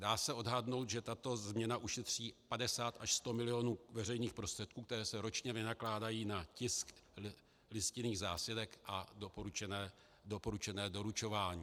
Dá se odhadnout, že tato změna ušetří 50 až 100 milionů veřejných prostředků, které se ročně vynakládají na tisk listinných zásilek a doporučené doručování.